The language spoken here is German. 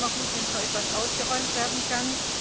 Aber es ist immer gut, wenn so etwas ausgeräumt werden kann.